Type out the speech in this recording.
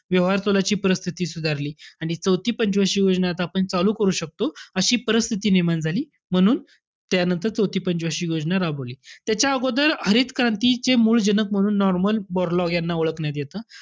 व्यवहारतोलाची परिस्थिती सुधारली. आणि चौथी पंचवार्षिक योजना आता आपण चालू करू शकतो, अशी परिस्थिती निर्माण झाली. म्हणून, त्यानंतर चौथी पंच वार्षिक योजना राबवली. त्याच्या अगोदर हरित क्रांतीचे मूळ जनक म्हणून नॉर्मन बोरलॉग यांना ओळखण्यात येतं.